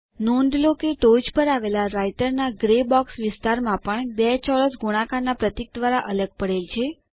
નોંધ લો કે ટોચ પર આવેલા રાઈટરના ગ્રે બોક્સ વિસ્તારમાં પણ બે ચોરસ ગુણાકારના પ્રતીક દ્વારા અલગ પડેલ છે